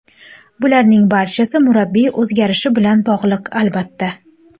Bularning barchasi murabbiy o‘zgarishi bilan bog‘liq, albatta.